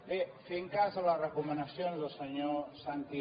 bé fent cas a les recomanacions del senyor santi